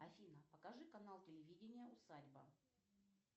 афина покажи канал телевидения усадьба